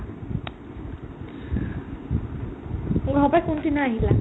অ', ঘৰৰ পাই কোনদিনা আহিলা ?